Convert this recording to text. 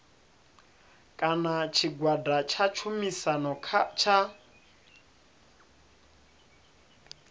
kana tshigwada tsha tshumisano tsha